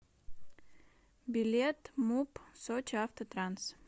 билет муп сочиавтотранс